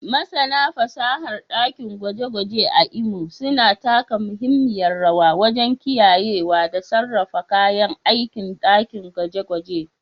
Masana fasahar ɗakin gwaje-gwaje a Imo suna taka muhimmiyar rawa wajen kiyayewa da sarrafa kayan aikin dakin gwaje-gwaje